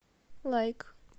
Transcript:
лайк